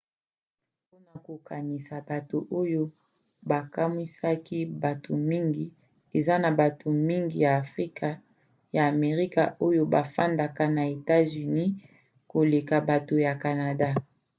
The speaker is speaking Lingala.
mpona kokokanisa bato oyo bakamwisaka bato mingi: eza na bato mingi ya afrika ya amerika oyo bafandaka na etats-unis koleka bato ya canada